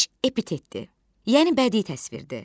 Şiş epitetdir, yəni bədii təsvirdir.